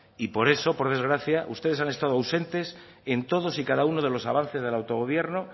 y por eso por desgracia ustedes han estado ausentes en todos y cada uno de los avances del autogobierno